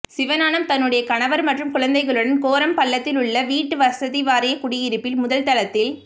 சிவஞானம் தன்னுடைய கணவர் மற்றும் குழந்தைகளுடன் கோரம்பள்ளத்தில் உள்ள வீட்டு வசதிவாரிய குடியிருப்பில் முதல் தளத்தில்